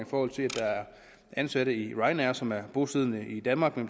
forhold til at der er ansatte i ryanair som er bosiddende i danmark men